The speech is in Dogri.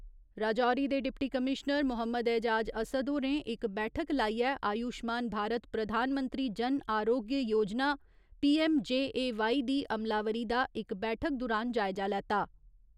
राजौरी दे डिप्टी कमीश्नर मोहम्मद ऐजाज असद होरें इक बैठक लाइयै आयुश्मान भारत प्रधानमंत्री जन अरोग्य योजना पी.ऐम्म.जे.ए.वाई. दी अमलावरी दा इक बैठक दुरान जायजा लैता।